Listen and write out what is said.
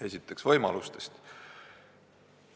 Esiteks võimalustest.